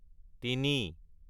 তিনি